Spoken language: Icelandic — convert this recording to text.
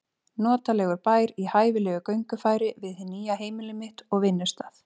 Notalegur bær í hæfilegu göngufæri við hið nýja heimili mitt og vinnustað.